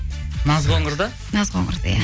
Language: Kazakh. наз қоңырды наз қоңырды иә